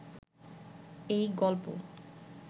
এই গল্প